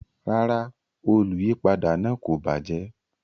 Rara, oluyipada naa ko bajẹ